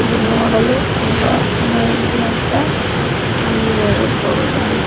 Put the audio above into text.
ಇದು ನೋಡಲು ತುಂಬಾ ಚೆನಾಗಿದೆ ಅಂತ ಹೇಳಬಹುದು .